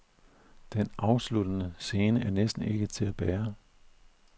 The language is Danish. Den afsluttende scene er næsten ikke til at bære.